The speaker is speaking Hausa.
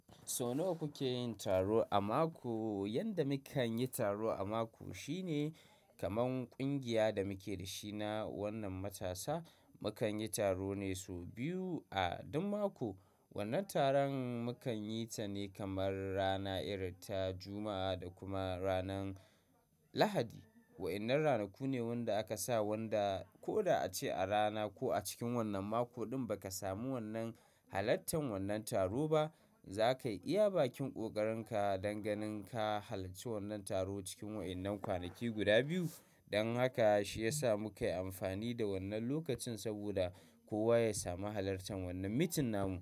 So nawa kuke yin taro a mako? Yanda mukan yi taro a mako shine kaman ƙungiya da muke da shi na wannan matasa, mukan yi taro ne sau biyu a duk mako. Wannan taron mukan yi ta ne kamar rana irin ta Juma'a da kuma ranan Lahadi. Wa'innan ranaku ne wanda aka sa wanda ko da ace a rana ko a cikin wannan mako ɗin ba ka samu wannan halartan wannan taro ba, za kai iya bakin ƙoƙarinka dan ganin ka halarci wannan taro cikin wa'innan kwanaki guda biyu. Dan haka shi ya sa mu kai amfani da wannan lokacin saboda kowa ya sami halartan wannan meeting namu.